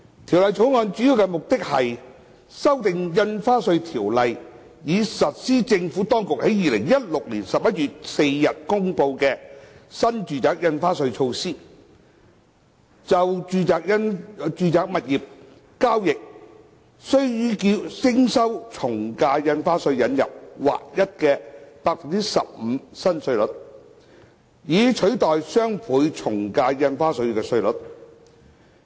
《條例草案》的主要目的是修訂《印花稅條例》，以實施政府當局在2016年11月4日公布的新住宅印花稅措施，就住宅物業交易須予徵收的從價印花稅引入劃一為 15% 的新稅率，以取代雙倍從價印花稅稅率。